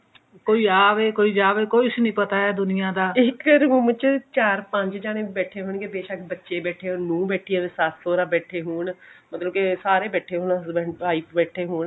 ਕੋਈ ਆਵੇ ਕੋਈ ਜਾਵੇ ਕੁੱਛ ਨਹੀਂ ਪਤਾ ਹੈ ਦੁਨੀਆ ਦਾ ਇੱਕ room ਚ ਚਾਹੇ ਚਾਰ ਪੰਜ ਜਣੇ ਬੈਠੇ ਹੋਣਗੇ ਬੇਸ਼ੱਕ ਬੱਚੇ ਬੈਠੇ ਹੋਣ ਨੂੰਹ ਬੈਠੀ ਹੋਵੇ ਸੱਸ ਸੋਹਰਾ ਬੈਠੇ ਹੋਣ ਮਤਲਬ ਕੇ ਸਾਰੇ ਬੈਠੇ ਹੋਣ husband wife ਬੈਠੇ ਹੋਣ